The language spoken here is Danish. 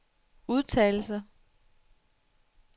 udtalelser